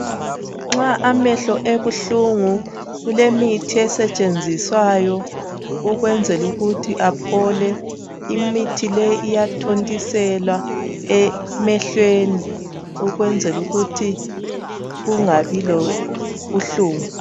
Nxa emehlo ebuhlungu kulemithi esetshenziswayo ukwenzela ukuthi aphole. Imithi leyi iyathontiselwa emelweni ukwenzela ukuthi kungabi lobuhlungu.